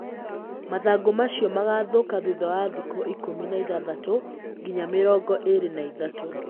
Mathangũ macio magathũka thutha wa thikũ ikũmi na ithathatũ nginya mĩrongo ĩrĩ na ithatũ.